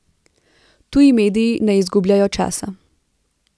Tuji mediji ne izgubljajo časa.